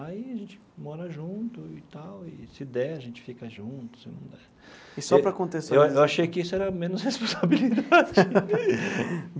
Aí a gente mora junto e tal, e, se der, a gente fica junto, se não der... E só para contextualizar... Eu eu achei que isso era menos responsabilidade.